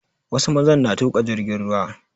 Wasu mazan na tuƙa jirgin ruwa